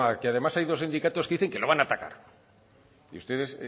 que además hay dos sindicatos que dicen que lo van a atacar y ustedes